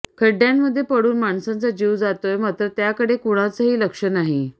खड्ड्यांमध्ये पडून माणसांचा जीव जातोय मात्र त्याकडे कुणाचंही लक्ष नाही